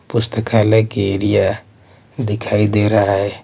पुस्तकालय के एरिया दिखाई दे रहा है।